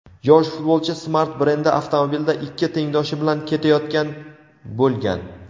yosh futbolchi "Smart" brendi avtomobilida ikki tengdoshi bilan ketayotgan bo‘lgan.